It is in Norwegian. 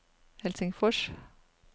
Helsingfors